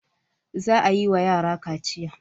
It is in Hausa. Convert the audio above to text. Za a yi wa yara kaciya.